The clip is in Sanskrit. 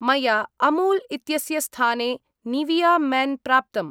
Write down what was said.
मया अमूल् इत्यस्य स्थाने निविया मेन् प्राप्तम्।